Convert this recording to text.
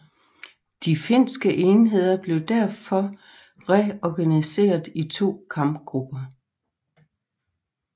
De finske enheder blev derfor reorganiseret i to kampgrupper